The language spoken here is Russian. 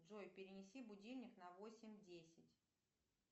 джой перенеси будильник на восемь десять